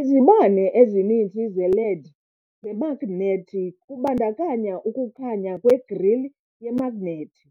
Izibane EZININZI ze-led zemagnethi kubandakanya ukukhanya kwe-grille yemagnethi,